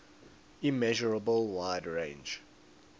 immeasurable wide range